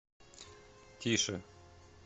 тише